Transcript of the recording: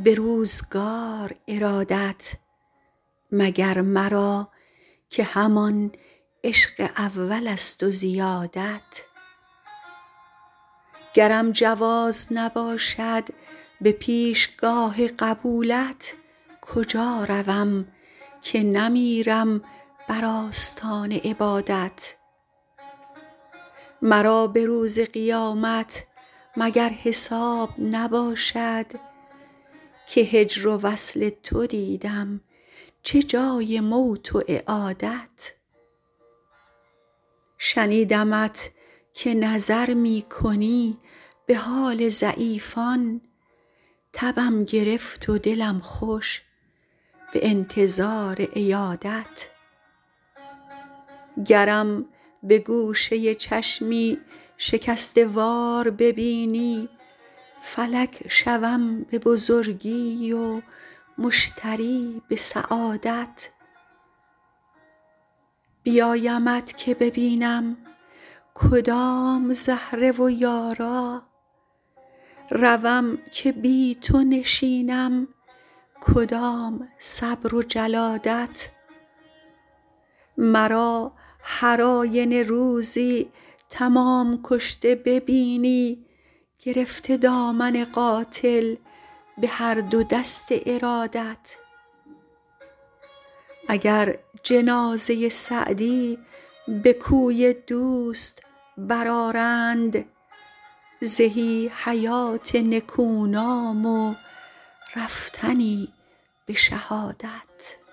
به روزگار ارادت مگر مرا که همان عشق اولست و زیادت گرم جواز نباشد به پیشگاه قبولت کجا روم که نمیرم بر آستان عبادت مرا به روز قیامت مگر حساب نباشد که هجر و وصل تو دیدم چه جای موت و اعادت شنیدمت که نظر می کنی به حال ضعیفان تبم گرفت و دلم خوش به انتظار عیادت گرم به گوشه چشمی شکسته وار ببینی فلک شوم به بزرگی و مشتری به سعادت بیایمت که ببینم کدام زهره و یارا روم که بی تو نشینم کدام صبر و جلادت مرا هر آینه روزی تمام کشته ببینی گرفته دامن قاتل به هر دو دست ارادت اگر جنازه سعدی به کوی دوست برآرند زهی حیات نکونام و رفتنی به شهادت